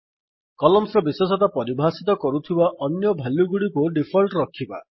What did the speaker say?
columns ର ବିଶେଷତା ପରିଭାଷିତ କରୁଥିବା ଅନ୍ୟ ଭାଲ୍ୟୁଗୁଡ଼ିକୁ ଡିଫଲ୍ଟ୍ ରଖିବା